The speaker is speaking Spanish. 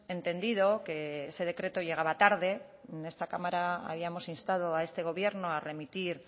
entendido que ese decreto llegaba tarde en esta cámara habíamos instado a este gobierno a remitir